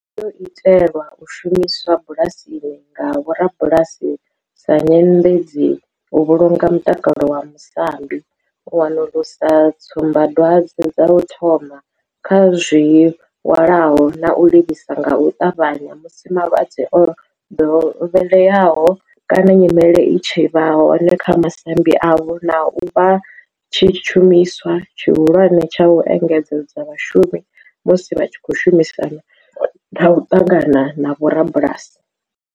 yo itelwa u shumiswa bulasini nga vhorabulasi sa nyendedzi u vhulunga mutakalo wa masambi, u wanulusa tsumba dwadzwe dza u thoma kha zwilwalaho na u livhisa nga u tavhanya musi malwadze o dovheleaho kana nyimele i tshi vha hone kha masambi avho, na u vha tshishumiswa tshihulwane tsha u engedzedza vhashumi musi vha tshi khou shumisana na u ṱangana na vhorabulasi.